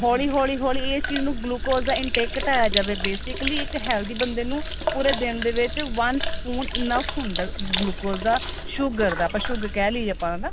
ਹੋਲੀ ਹੋਲੀ ਹੋਲੀ ਇਸ ਚੀਜ ਨੂੰ glucose ਦਾ intake ਘਟਾਇਆ ਜਾਵੇ basically ਇੱਕ healthy ਬੰਦੇ ਨੂੰ ਪੂਰੇ ਦਿਨ ਦੇ ਵਿੱਚ one spoon enough ਹੁੰਦਾ glucose ਦਾ sugar ਦਾ sugar ਕਹਿ ਲਈਏ ਆਪਾਂ ਹਨਾ